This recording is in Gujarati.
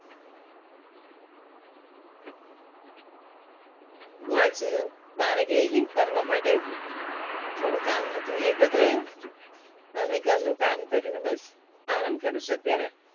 હું આજે બારે ગયેલી ફરવા માટે થોડું કામ હતું એ પતાયું અને ઘરનું કામ કર્યું ને બસ આરામ કરું છું અત્યારે